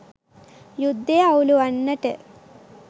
යුද්ධය අවුළුවන්නට